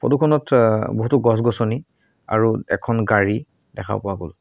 Photo খনত অ বহুতো গছ-গছনি আৰু এখন গাড়ী দেখা পোৱা গ'ল।